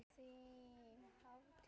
Þín Hafdís.